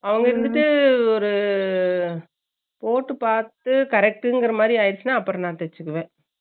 இருந்துட்டு ஒரு, போட்டு பாத்துட்டு correct டுன்க்ராமாரி ஆகிடுச்சுனா அப்பறம் நான் தேச்சுகுவேன்